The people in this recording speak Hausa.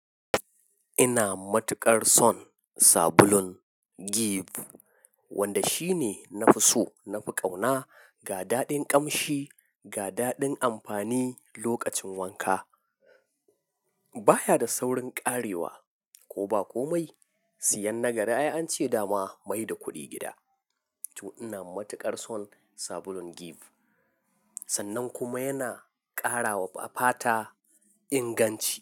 Ina matuƙar son sabulun Give wanda shine nafi so, nafi ƙauna ga daɗin ƙamshi, ga daɗin amfani lokacin wanka. Baya da saurin ƙarewa ko ba komai. Siyan na gari ai ance dama mai da kuɗi gida. To ina matuƙar son sabulun Give sannan kuma yana ƙarawa fata inganci.